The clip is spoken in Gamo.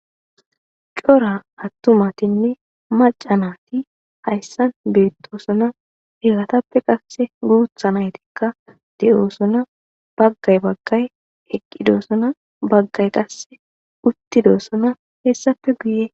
cora attumatinne macanati hayssan beettosuna helatappe qasse guutha naytikka de7oosuna baggay baggay eqqidossuna baggay qasse uttidossuna hessafe guye